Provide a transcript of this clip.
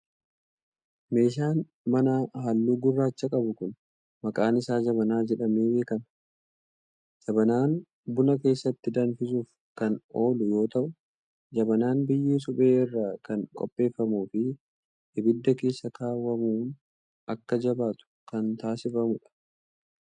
Meeshaan manaa haalluu gurraacha qabu kun maqaan isaa jabanaa jedhmee beekama. Jabanaan buna keessatti danfisuuf kan oolu yoo ta'u, jabanaan biyyee suphee irraa kan qopheeffamuu fi ibidda keessa kaawwamuun akka jabaatu kan taasifamuu dha.